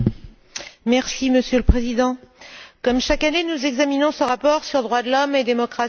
Monsieur le Président, comme chaque année, nous examinons ce rapport sur les droits de l'homme et la démocratie dans le monde.